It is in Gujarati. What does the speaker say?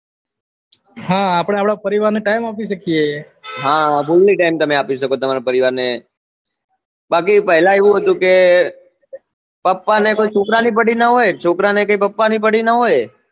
હા આપડે આપડા પરિવાર ને time આપી શકીએ હા fully time તમે આપી શકો તમારા પરિવાર ને બાકી પેહલા એવું હતું કે papa ને કઈ છોકરા ની પડી ના હોય છોકરા ને કઈ papa ની પડી ના હોય